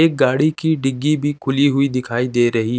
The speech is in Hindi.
एक गाड़ी की दिग्गी भी खुली हुई दिखाई दे रही--